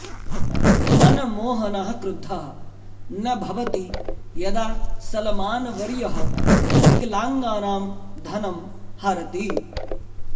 मनमोहनः क्रुद्धः न भवति यदा सलमानवर्यः विकलाङ्गानां धनं हरति